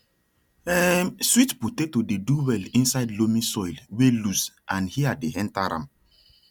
um sweet potato dey do well inside loamy soil wey loose and air dey enter am